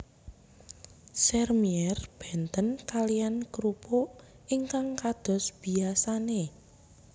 Sèrmièr benten kaliyan krupuk ingkang kados biyasane